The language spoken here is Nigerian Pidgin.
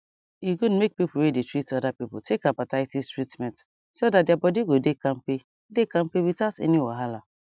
e good make people wey dey treat other people take hepatitis treatment so that their body go dey kampe dey kampe without any wahala